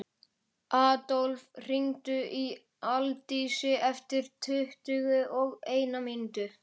Adólf, hringdu í Aldísi eftir tuttugu og eina mínútur.